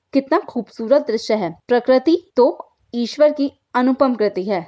कितना खूबसूरत दृश्य है प्रकृति तो ईश्वर की अनुपम कृति है।